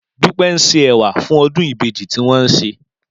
Dúpẹ́ ń se ẹ̀wà fún ọdún ìbejì tí wọ́n ń ṣe